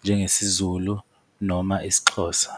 njengesiZulu noma isiXhosa.